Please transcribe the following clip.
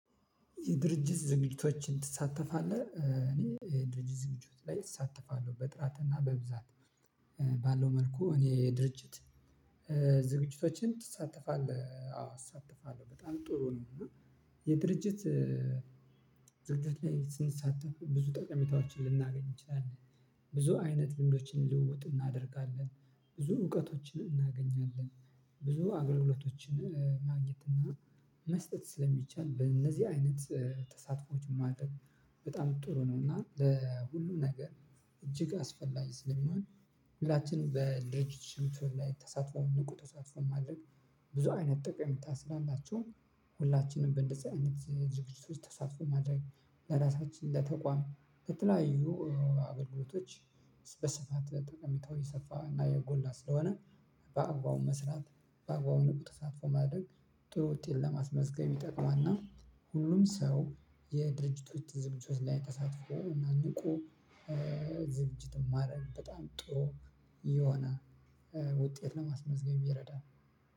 የድርጅት ዝግጅቶችን ትሳተፋለህ እኔ ድርጅት ዝግጅቶች ላይ እሳተፋለሁ በጥራትና በብዛት ባለው መልኩ እኔ የድርጅት ዝግጅቶችን ትሳተፋለህ አዎ አሳተፋለሁ በጣም ጥሩ ነው። እና የድርጅት ድርጅት ላይ ስንሳተፍ ብዙ ጠቀሜታዎችን ልናገኝ እንችላለን። ብዙ አይነት ልምዶችን ልውውጥ እናደርጋለን ብዙ እውቀቶችን እናገኛለን። ብዙ አገልግሎቶችን ማግኘት እና መስጠት ስለሚቻል በእነዚህ አይነት ተሳትፎዎች ማድረግ በጣም ጥሩ ነው። እና ለሁሉም ነገር እጅግ አስፈላጊ ስለሚሆን ሁላችንም በድርጅቱ? ላይ ተሳትፎ ንቁ ተሳትፎ ማድረግ ብዙ አይነት ጥቅም ታስላላችሁ። ሁላችንም በእንደዚህ አይነት ድርጅት ውስጥ ተሳትፎ ማድረግ ለራሳችን ለተቋም በተለያዩ አገልግሎቶች በሰፋት ጠቀሜታው የሰፋ እና የጎላ ስለሆነ። በአግባቡ መስራት በአግባቡ ንቁ ተሳትፎ ማድረግ ጥሩ ውጤት ለማስመዝገብ ይጠቅማና። ሁሉም ሰው የድርጅቶች ትዝቶች ላይ ተሳትፎ እና ንቁ ዝግጅት ማረግ በጣም ጥሩ የሆነ ውጤት ነው። ማስመዝገብ ይረዳል።